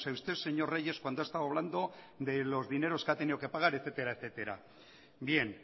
usted señor reyes cuando ha estado hablando de los dineros que ha tenido que pagar etcétera bien